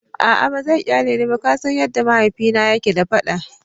A'a ba zai kyale ni ba, ka san yadda mahaifina yake da fada.